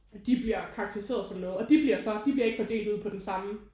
De bliver karakteriseret og sådan noget og de bliver så de bliver ikke fordelt ud på den samme